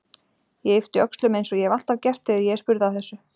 Ég yppti öxlum eins og ég hef alltaf gert þegar ég er spurð að þessu.